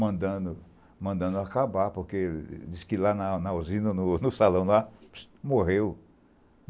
mandando, mandando acabar, porque dizem que lá na usina, no salão, morreu.